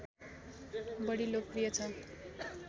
बढी लोकप्रिय छ